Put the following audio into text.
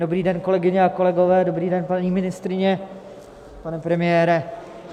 Dobrý den, kolegyně a kolegové, dobrý den, paní ministryně, pane premiére.